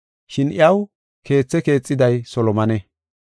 Shin iyaw keethaa keexiday Solomone.